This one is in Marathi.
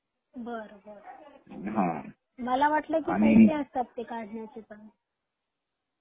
बर बर. मला वाटल चार्गेस असता त्याचे काढले तर